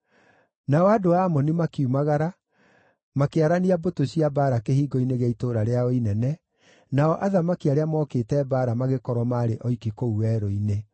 Nao andũ a Amoni makiumagara, makĩarania mbũtũ cia mbaara kĩhingo-inĩ gĩa itũũra rĩao inene, nao athamaki arĩa mookĩte mbaara, magĩkorwo maarĩ oiki kũu werũ-inĩ.